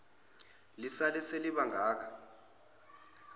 lisale seliba ngaka